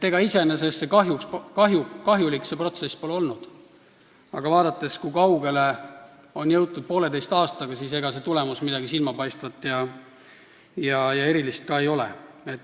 Ega see protsess iseenesest pole kahjulik olnud, aga kui vaadata, kui kaugele on jõutud poolteise aastaga, siis on näha, et ega see tulemus midagi silmapaistvat ja erilist ka ei ole.